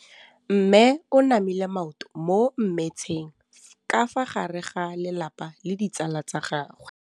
Mme o namile maoto mo mmetseng ka fa gare ga lelapa le ditsala tsa gagwe.